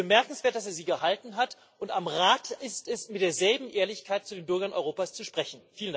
Es ist bemerkenswert, dass er sie gehalten hat, und am Rat ist es, mit derselben Ehrlichkeit zu den Bürgern Europas zu sprechen.